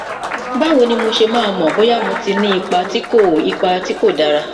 báwo ni mo ṣe máa mọ bóyá mo ti ní ipa tí kò ipa tí kò dára